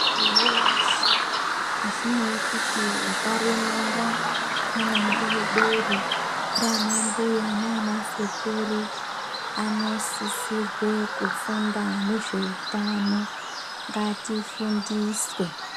Muntu wese asinei kuti wakaremara, mwana mudoredore, nana mbuya nana sekuru anosisirwe kufunda nezveutano. Ngatifundiswe.